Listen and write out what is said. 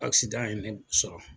ye ne sɔrɔ.